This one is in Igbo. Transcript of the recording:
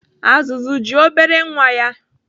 Azụzụ ji obere nwa ya.